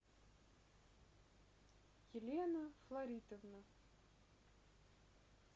елена фларитовна